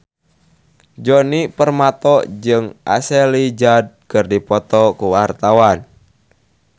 Djoni Permato jeung Ashley Judd keur dipoto ku wartawan